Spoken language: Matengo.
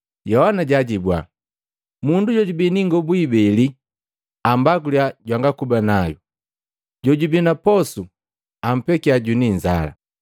Yohana jaajibua, “Mundu jojubi ni ingobu ibele ambaguliya jwangakuba nayu, jojubi na posu ampekya jwini inzala.”